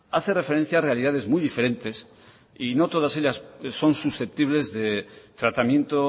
hace referencia a realidades muy diferentes y no todas ellas son susceptibles de tratamiento